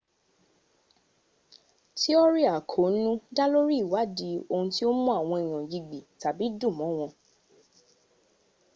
tiọ́rì àkóónú dá lórí ìwádí ohun tí ó mú àwọn èèyàn yigbì tàbí dùnmọ́ wọn